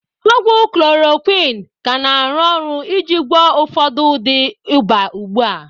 Ogwu klorokwin ka na-arụ ọrụ iji gwọọ ụfọdụ ụdị ịba ugbu a.